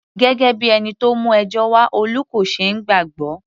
Gẹ́gẹ́ bíi ẹni tó mú ẹjọ́ wá, Olú kò ṣeé gbàgbọ́.